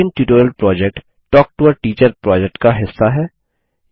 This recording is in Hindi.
spoken tutorial project talk to a teacher project का हिस्सा है